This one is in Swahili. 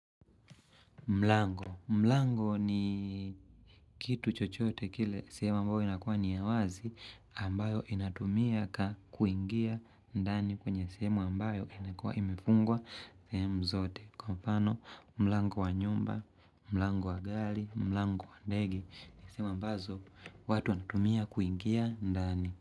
Mlango. Mlango ni kitu chochote kile sehemu ambayo inakua ni ya wazi ambayo inatumia ka kuingia ndani kwenye sehemu ambayo inakuwa imefungwa sehemau zote. Kwa mfano, mlango wa nyumba, mlango wa gari, mlango wa ndege, ni sehemu ambazo watu wanatumia kuingia ndani.